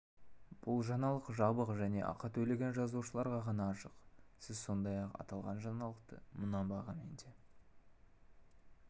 бұл жаңалық жабық және ақы төлеген жазылушыларға ғана ашық сіз сондай-ақ аталған жаңалықты мына бағамен де